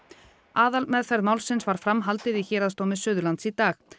aðalmeðferð málsins var framhaldið í Héraðsdómi Suðurlands í dag